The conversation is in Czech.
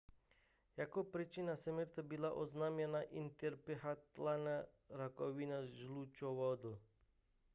jako příčina smrti byla oznámena intrahepatální rakovina žlučovodů